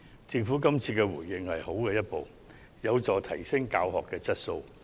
政府今次的回應是良好的一步，有助提升教學質素。